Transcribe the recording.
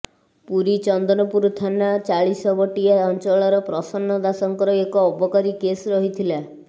ପୁରୀ ଚନ୍ଦନପୁର ଥାନା ଚାଳିଶବଟିଆ ଅଞ୍ଚଳର ପ୍ରସନ୍ନ ଦାସଙ୍କର ଏକ ଅବକାରୀ କେସ ରହିଥିଲା